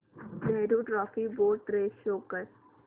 Nehru trophy boat race show कर